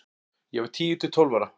Ég var tíu til tólf ára.